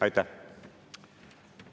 Aitäh!